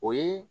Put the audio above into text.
O ye